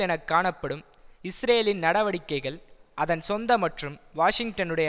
என காணப்படும் இஸ்ரேலின் நடவடிக்கைகள் அதன் சொந்த மற்றும் வாஷிங்டனுடைய